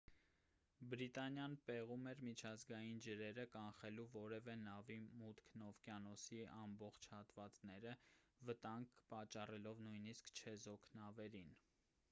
բրիտանիան պեղում էր միջազգային ջրերը կանխելու որևէ նավի մուտքն օվկիանոսի ամբողջ հատվածները վտանգ պատճառելով նույնիսկ չեզոք նավերին